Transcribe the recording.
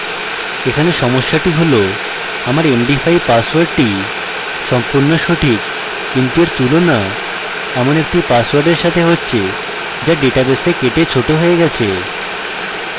এখানে সমস্যাটি হল আমাদের md5 পাসওয়ার্ডটি সম্পূর্ণ সঠিক কিন্তু এর তুলনা এমন একটি পাসওয়ার্ডের সাথে হচ্ছে the ডেটাবেসে কেটে short হয়ে গেছে